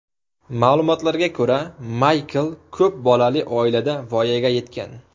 Ma’lumotlarga ko‘ra, Maykl ko‘p bolali oilada voyaga yetgan.